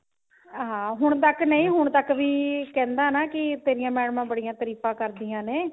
ਹਾਂ ਹੁਣ ਤੱਕ ਨਹੀਂ ਹੁਣ ਤੱਕ ਵੀ ਕਹਿੰਦਾ ਨਾ ਕਿ ਤੇਰਿਆਂ ਮੈਡਮਾਂ ਬੜੀਆਂ ਤਾਰੀਫਾਂ ਕਰਦੀਆਂ ਨੇ